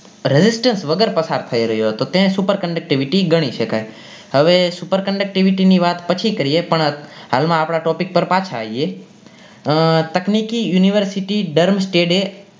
register વગર પસાર થઇ રહ્યો હતો તે super conductivity ગણી સકાય હવે super conductivity ની વાત પછી કરીએ પણ હાલ માં આપણા topic પર પાછા આવીએ અ તકનીકી university ધરમ સ્તડે